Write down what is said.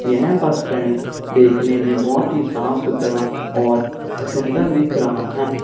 यह bus stand देखने में बहोत ही साफ सुथरा और सुंदर दिख रहा है।